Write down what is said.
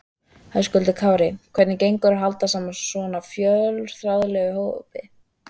Höskuldur Kári: Hvernig gengur að halda saman svona fjölþjóðlegum hópi?